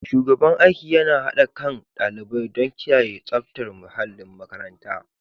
Shugaban aiki yana haɗa kain ɗalibai don kiyaye tsaftar muhallin makaranta.